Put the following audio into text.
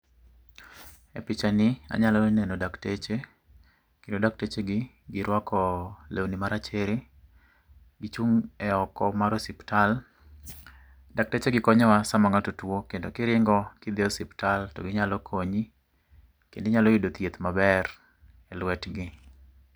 E pichani anyalo neno dakteche kendo daktechegi giruako lewni marachere, gichung' eoko mar osiptal. Daktechegi konyowa sama ng'ato tuo kendo kiringo kidhi osiptal toginyalo konyi kendo inyalo yudo thieth maber eluetgi.